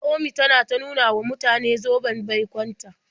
Naomi tana ta nuna wa mutane zoben baikon ta.